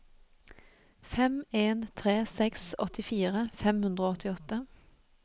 fem en tre seks åttifire fem hundre og åttiåtte